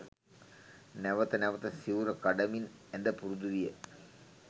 නැවත නැවත සිවුර කඩමින් ඇඳ පුරුදු විය.